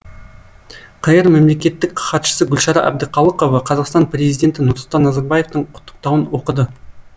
қр мемлекеттік хатшысы гүлшара әбдіқалықова қазақстан президенті нұрсұлтан назарбаевтың құттықтауын оқыды